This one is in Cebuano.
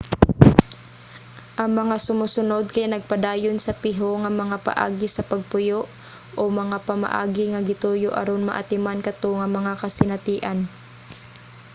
ang mga sumusunod kay nagpadayon sa piho nga mga paagi sa pagpuyo o mga pamaagi nga gituyo aron maatiman kato nga mga kasinatian